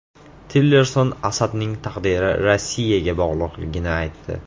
Tillerson Asadning taqdiri Rossiyaga bog‘liqligini aytdi.